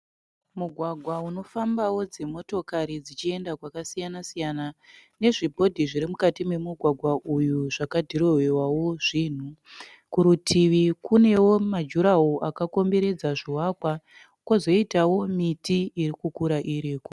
Mugwagwa unofambawo dzimotokari dzichienda kwakasiyana siyana. Nezvibhodhi zvirimukati memugwagwa uyu zvakadhirowewawo zvinhu. Kurutivi kunewo majurahoro akakomberedza zvivakwa. Kozoita miti irikukura iripo.